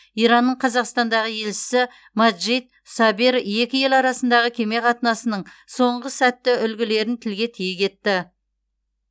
иранның қазақстандағы елшісі маджид сабер екі ел арасындағы кеме қатынасының соңғы сәтті үлгілерін тілге тиек етті